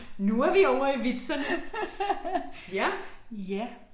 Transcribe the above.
Nu er vi ovre i vitserne. Ja